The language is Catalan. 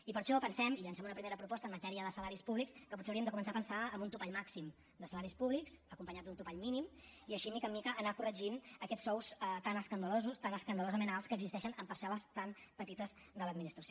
i per això pensem i llancem una primera proposta en matèria de salaris públics que potser hauríem de començar a pensar en un topall màxim de salaris públics acompanyat d’un topall mínim i així de mica en mica anar corregint aquests sous tan escandalosos tan escandalosament alts que existeixen en parcel·les tan petites de l’administració